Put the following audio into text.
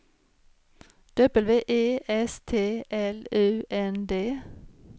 W E S T L U N D